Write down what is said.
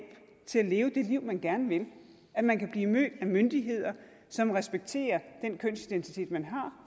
til at leve det liv man gerne vil at man kan blive mødt af myndigheder som respekterer den kønsidentitet man har